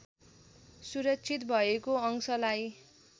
सुरक्षित भएको अंशलाई